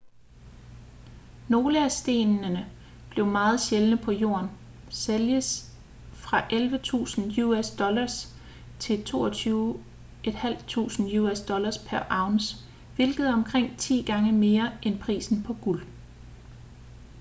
nogle af stenene som er meget sjældne på jorden sælges fra 11.000 us$ til $22.500 us$ pr. ounce hvilket er omkring ti gange mere end prisen på guld